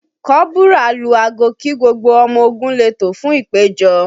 Kọ́bùrà lu aago kí gbogbo ọmọ ogun lè tò fún ìpèjọ